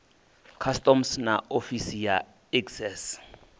customs na ofisi ya excise